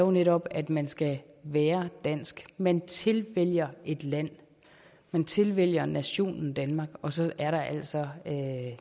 er netop at man skal være dansk man tilvælger et land man tilvælger nationen danmark og så er der altså